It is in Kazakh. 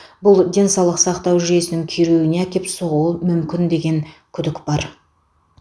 бұл денсаулық сақтау жүйесінің күйреуіне әкеп соғуы мүмкін деген күдік бар